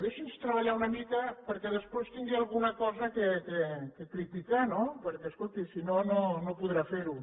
deixi’ns treballar una mica perquè després tingui alguna cosa per criticar no perquè escolti si no no podrà fer ho